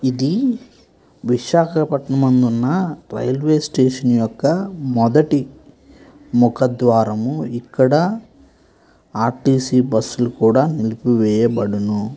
ఇది విశాఖపట్నం అందున్నరైల్వేస్టేషన్ యొక్క మొదటి ముఖ ద్వారము ఇక్కడ ఆర్_టి_సీ బస్సులు కూడా నిలిపివేయబడును.